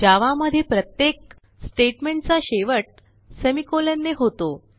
जावा मध्ये प्रत्येक स्टेटमेंट चा शेवट सेमिकोलॉन ने होतो